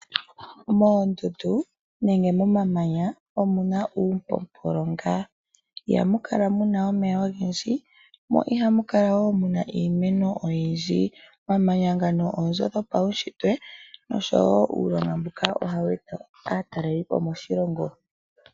Moondundu nenge momamanya, omuna uumpopolo ngaa, ihamu kala muna omeya ogendji mo ihamu kala wo muna iimeno oyindji. Omamanya ngano oonzo dhopawunshitwe nosho wo uulonga mbuka ohawu eta aataleli po moshilongo.